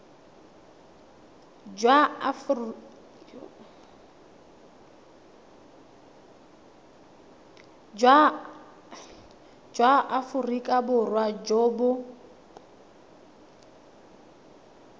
jwa aforika borwa jo bo